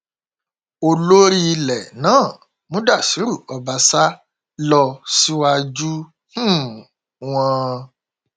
olórí ilẹ náà mudashiru ọbásà lọ síwájú um wọn